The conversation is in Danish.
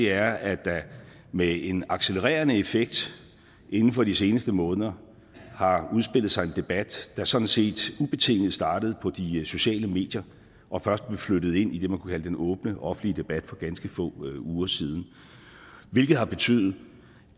er at der med en accelererende effekt inden for de seneste måneder har udspillet sig en debat der sådan set ubetinget startede på de sociale medier og først blev flyttet ind i det man kunne kalde den åbne offentlige debat for ganske få uger siden det har betydet